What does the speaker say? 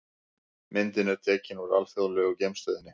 Myndin er tekin úr Alþjóðlegu geimstöðinni.